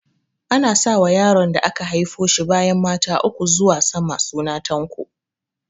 Ana sa wa yaron da aka haifo shi bayan mata uku zuwa sama suna Tanko